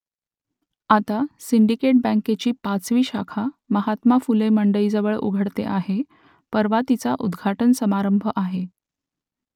आता सिंडिकेट बँकेची पाचवी शाखा महात्मा फुले मंडईजवळ उघडते आहे परवा तिचा उद्घाटन समारंभ आहे